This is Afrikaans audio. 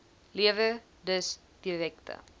lewer dus direkte